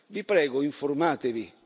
Vi prego, informatevi.